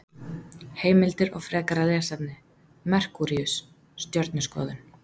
Heimildir og frekara lesefni: Merkúríus- Stjörnuskoðun.